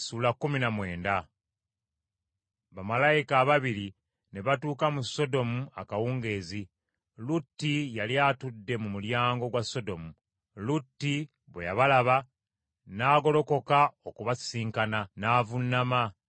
Bamalayika ababiri ne batuuka mu Sodomu akawungeezi; Lutti yali atudde mu mulyango gwa Sodomu. Lutti bwe yabalaba n’agolokoka okubasisinkana, n’avuunama,